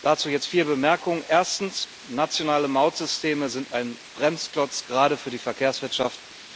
Dazu jetzt vier Bemerkungen Erstens Nationale Mautsysteme sind ein Bremsklotz, gerade für die Verkehrswirtschaft.